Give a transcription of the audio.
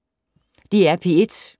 DR P1